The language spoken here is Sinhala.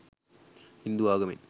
හින්දු ආගමෙන්.